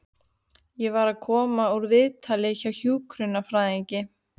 Ég var að koma úr viðtali hjá hjúkrunarfræðingi.